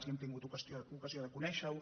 i hem tingut ocasió de conèixer·ho